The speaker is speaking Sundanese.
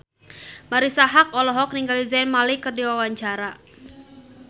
Marisa Haque olohok ningali Zayn Malik keur diwawancara